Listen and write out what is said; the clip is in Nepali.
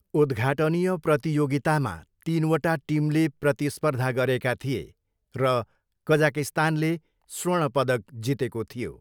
उद्घाटनीय प्रतियोगितामा तिनवटा टिमले प्रतिस्पर्धा गरेका थिए र कजाकिस्तानले स्वर्ण पदक जितेको थियो।